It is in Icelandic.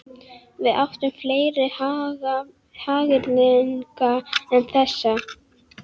Við áttum fleiri hagyrðinga en þessa.